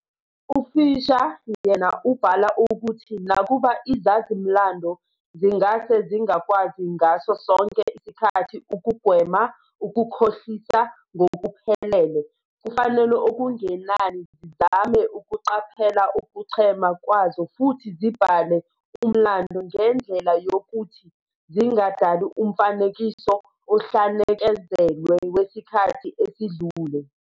UFischer, yena, ubhala ukuthi nakuba izazi-mlando zingase zingakwazi ngaso sonke isikhathi ukugwema ukukhohlisa ngokuphelele, kufanele okungenani zizame ukuqaphela ukuchema kwazo futhi zibhale umlando ngendlela yokuthi zingadali umfanekiso ohlanekezelwe wesikhathi esidlule.